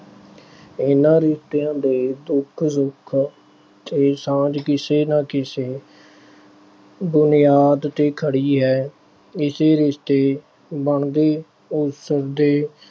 ਇਹਨਾਂ ਰਿਸ਼ਤਿਆਂ ਦੇ ਦੁੱਖ-ਸੁੱਖ ਤੇ ਸਾਂਝ ਕਿਸੇ ਨਾ ਕਿਸੇ ਬੁਨਿਆਦ ਤੇ ਖੜ੍ਹੀ ਆ। ਏਸੇ ਰਿਸ਼ਤੇ ਬਣਦੇ ਉਸ ਦੇ ਅਹ